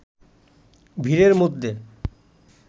ভিড়ের মধ্যে